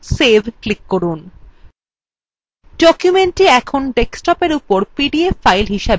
documentthe এখন desktopএর উপর pdf file হিসাবে সেভ হয়ে গেছে